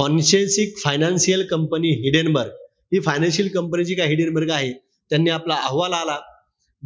हॉन्सेससीक financial company Hindenburg, हि financial company जी आहे, हिडेनबर्ग आहे, त्यांनी आपला अहवाल आला.